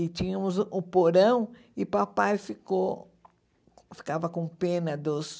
E tínhamos o porão e papai ficou ficava com pena dos...